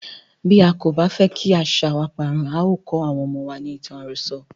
Bí a kò bá fẹ́ kí àṣàa wa parun, a o kó àwọn ọmọ wa ní ìtàn àròso.